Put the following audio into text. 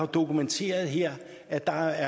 dokumenteret her at der